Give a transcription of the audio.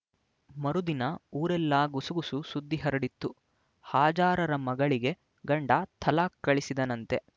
ಮರುದಿನ ಊರೆಲ್ಲ ಗುಸುಗುಸು ಸುದ್ದಿ ಹರಡಿತು ಹಾಜಾರರ ಮಗಳಿಗೆ ಗಂಡ ತಲಾಖ್ ಕಳಿಸಿದನಂತೆ